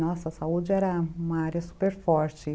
Nossa, a saúde era uma área super forte.